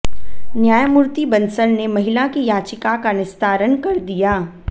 न्यायमूर्ति बंसल ने महिला की याचिका का निस्तारण कर दिया